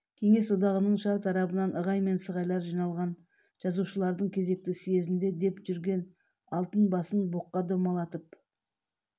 кеңес одағының шар тарабынан ығай мен сығайлар жиналған жазушылардың кезекті съезінде деп жүрген алтын басын боққа домалатып